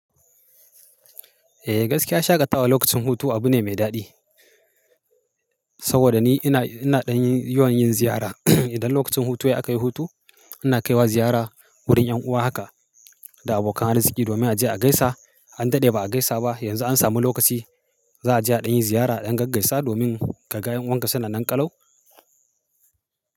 Eh gaskiya shagatawa lokacin hutu abu ne mai daɗi. Saboda ni ina, ina ɗan yi yawan yin ziyara. Idan lokacin hutu ya akayi hutu, ina kaiwa ziyara wurin 'yan uwa haka da abokan arziki. Domin a je a gaisa an daɗe ba a gaisa ba. Yanzu an samu lokaci za a je a ɗan yi ziyara ɗan gaggaisa domin kaga yan uwanka suna nan ƙalau.